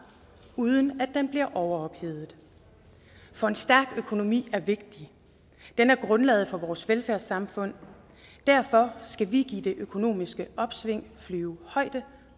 uden at den bliver overophedet for en stærk økonomi er vigtig den er grundlaget for vores velfærdssamfund derfor skal vi give det økonomiske opsving flyvehøjde